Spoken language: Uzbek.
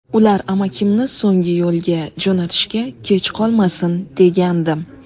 Ular amakimni so‘nggi yo‘lga jo‘natishga kech qolmasin degandim.